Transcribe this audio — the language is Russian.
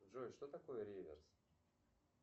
джой что такое реверс